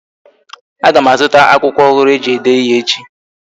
Aga m a zụta akwụkwọ ọhụrụ e ji ede ịhe echi